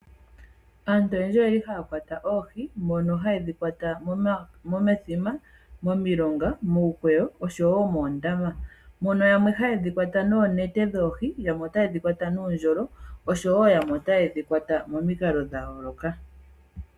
Aantu oyendji oyeli haya kwata oohi mono hayedhi kwata momithima ,momilonga ,muukweyo oshowo muundama . Mono yamwe hayedhi kwata noonete dhoohi yamwe ota ye shikwata noondjolo oshowo yamwe ota yedhi kwata momikalo dha yooloka.